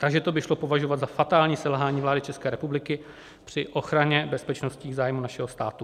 Takže to by šlo považovat za fatální selhání vlády České republiky při ochrany bezpečnostních zájmů našeho státu.